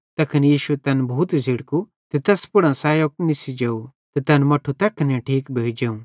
तैखन यीशुए तैन भूत झ़िड़कू ते तैस पुड़ां सैयो निस्सी जेव ते तैन मट्ठू तैखने ठीक भोइ जोवं